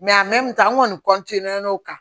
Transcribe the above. an kɔni n'o kan